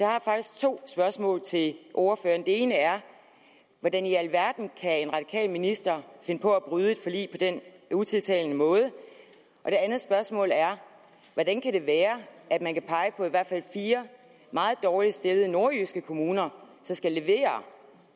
har faktisk to spørgsmål til ordføreren det ene er hvordan i alverden kan en radikal minister finde på at bryde et forlig på den utiltalende måde og det andet spørgsmål er hvordan kan det være at man kan pege på i hvert fald fire meget dårligt stillede nordjyske kommuner som skal levere